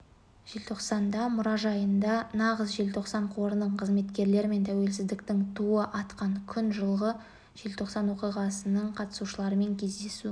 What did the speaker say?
желтоқсанда мұражайында нағыз желтоқсан қорының қызметкерлері мен тәуелсіздіктің туы атқан күн жылғы желтоқсан оқиғасының қатысушыларымен кездесу